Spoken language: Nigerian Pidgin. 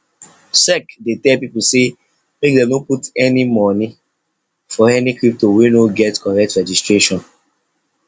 sec dey tell people say make dem no put money for any crypto wey no get correct registration